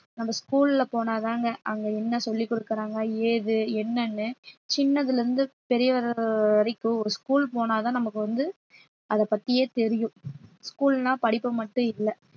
நம்ம school ல போனாதாங்க அங்க என்ன சொல்லிக் கொடுக்குறாங்க ஏது என்னன்னு சின்னதுல இருந்து பெரியவர் வரைக்கும் ஒரு school போனால்தான் நமக்கு வந்து அதைப் பத்தியே தெரியும் school ன்னா படிப்பு மட்டும் இல்ல